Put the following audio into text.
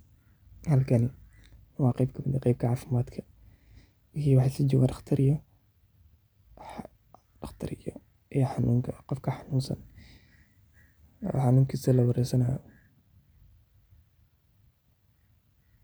Gubashada waa dhaawac ka dhasha marka maqaarka ama unugyada hoose ee jirka ay la kulmaan kulayl aad u daran, kiimikooyin wax guba, koronto ama xitaa faleebo aad u qabow, taasoo keeni karta dhaawac daran ama fudud iyadoo ku xiran heerka gubashada, meesha ay ku dhacdo iyo muddada uu jirku.